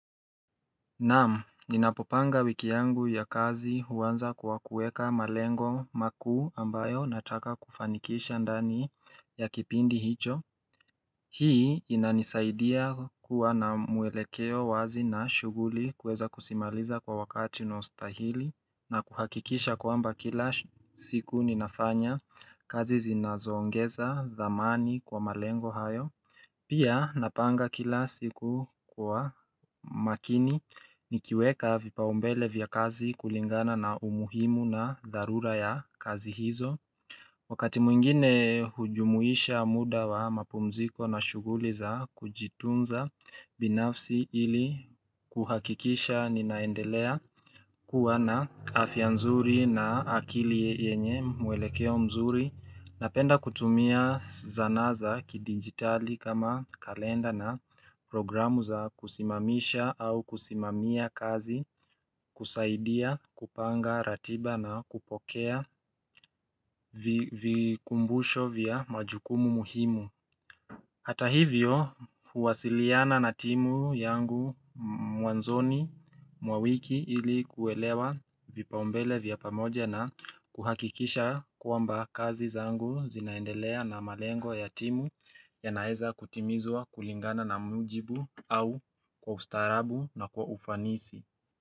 Naam, ninapopanga wiki yangu ya kazi huanza kwa kuweka malengo makuu ambayo nataka kufanikisha ndani ya kipindi hicho. Hii inanisaidia kuwa na mwelekeo wazi na shughuli kuweza kuzimaliza kwa wakati unaostahili na kuhakikisha kwamba kila siku ninafanya kazi zinazoongeza dhamani kwa malengo hayo. Pia napanga kila siku kwa makini nikiweka vipaumbele vya kazi kulingana na umuhimu na dharura ya kazi hizo. Wakati mwingine hujumuisha muda wa mapumziko na shuguli za kujitunza binafsi ili kuhakikisha ninaendelea kuwa na afya nzuri na akili yenye mwelekeo mzuri. Napenda kutumia sanaa za kidijitali kama kalenda na programu za kusimamisha au kusimamia kazi kusaidia kupanga ratiba na kupokea vikumbusho vya majukumu muhimu Hata hivyo huwasiliana na timu yangu mwanzoni mwa wiki ili kuelewa vipaumbele vya pamoja na kuhakikisha kwamba kazi zangu zinaendelea na malengo ya timu yanaeza kutimizwa kulingana na mujibu au kwa ustaarabu na kwa ufanisi.